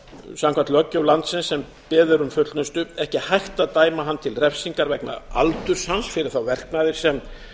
samkvæmt löggjöf landsins sem beðið er um fullnustu ekki hægt að dæma hann til refsingar vegna aldurs hans fyrir þá verknaði sem